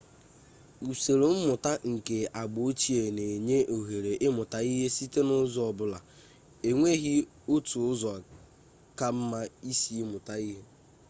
usoro mmụta nke agba ochie na-enye ohere ịmụta ihe site n'ụzọ ọbụla e nweghi otu ụzọ ka mma isi mụta ihe